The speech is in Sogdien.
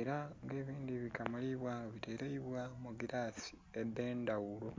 ela nga ebindhi bikamulibwa biteleibwa mu gilaasi edh'endhaghulo.